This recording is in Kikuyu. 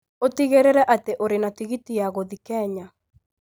ũtigĩrĩre atĩ ũrĩ na tigiti ya gũthiĩ Kenya